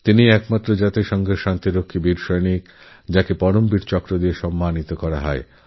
তিনি একমাত্র রাষ্ট্রসঙ্ঘের শান্তিরক্ষী বাহিনীর সদস্য ছিলেন বীরপুরুষছিলেন যাঁকে পরমবীর চক্র সম্মানে সম্মানিত করা হয়